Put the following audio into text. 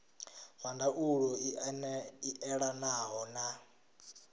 zwa ndaulo i elanaho na